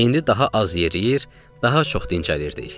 İndi daha az yeriyir, daha çox dincəlirdik.